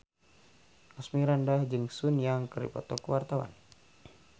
Asmirandah jeung Sun Yang keur dipoto ku wartawan